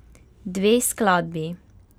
Dve skladbi?